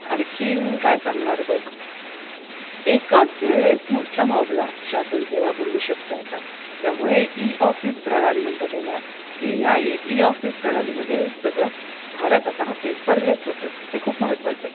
आणखी काय सांगणार बघ एकाच वेळेस मोठ्या मोबल शासन सेवा पुरवू शकते आता त्यामुळे ई ऑफिस प्रणाली म्हणतात याला की या ई ऑफिस प्रणालीमुळे सगळं भारत आता पेपरलेस होतोय हे खूप महत्वाच आहे.